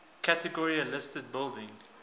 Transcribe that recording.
category a listed buildings